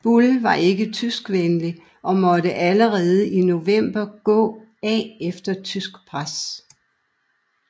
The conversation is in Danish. Buhl var ikke tyskvenlig og måtte allerede i november gå af efter tysk pres